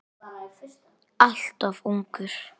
Alltof ungur.